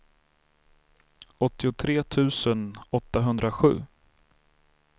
åttiotre tusen åttahundrasju